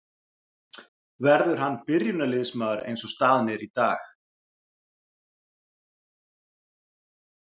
Verður hann byrjunarliðsmaður eins og staðan er í dag?